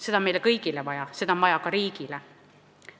Seda on meile kõigile vaja, seda on vaja ka riigile.